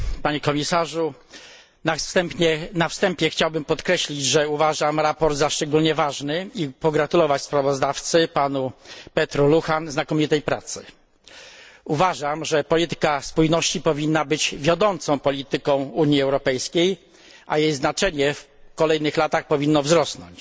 Panie Komisarzu! Na wstępie chciałbym podkreślić, że uważam sprawozdanie za szczególnie ważne i pogratulować sprawozdawcy, panu Petru Luhanowi, znakomitej pracy. Uważam, że polityka spójności powinna być wiodącą polityką Unii Europejskiej, a jej znaczenie w kolejnych latach powinno wzrosnąć.